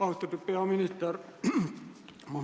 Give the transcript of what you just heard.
Austatud peaminister!